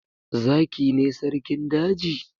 Zaki ne sarkin daji?